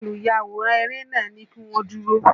Olùyàwòrán eré nàá ní kí wọ́n dúró.